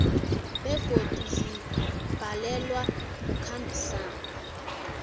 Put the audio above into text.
begodu zibhalelwa kukhambisana